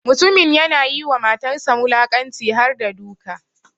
Mutumin ya na yi ma matansa wulakanci harda duka.